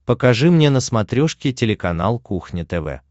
покажи мне на смотрешке телеканал кухня тв